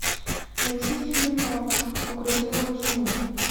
найти фильм укради мою жену